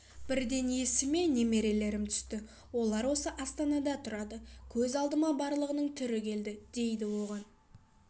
бірден есіме немерелерім түсті олар осы астанада тұрады көз алдыма барлығының түрі келді дейді оған